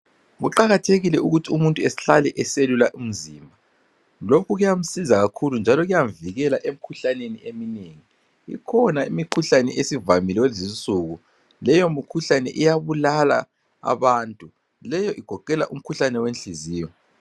Kuqakathekile ukuthi umuntu ehlale eselula umzimba. Lokhu kuyamsiza kakhulu njalo kuyamvikela emkhuhlneni eminengi. Ikhona imikhuhlane esivamile kulezinsuku. Leyo mikhuhlane iyabulala abantu. Leyo igoqela umkhuhlane wenhliziyo.